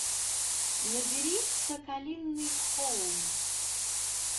набери соколиный холм